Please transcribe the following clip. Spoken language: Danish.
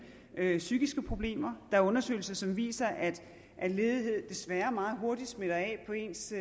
psykiske problemer der er undersøgelser som viser at ledighed desværre meget hurtigt smitter af på ens